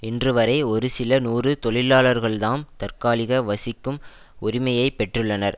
இன்றுவரை ஒரு சில நூறு தொழிலாளர்கள்தாம் தற்காலிக வசிக்கும் உரிமையை பெற்றுள்ளனர்